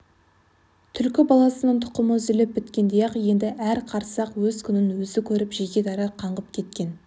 түлкі баласының тұқымы үзіліп біткендей-ақ енді әр қарсақ өз күнін өзі көріп жеке-дара қаңғып кеткен